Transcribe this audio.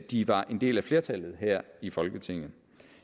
de var en del af flertallet her i folketinget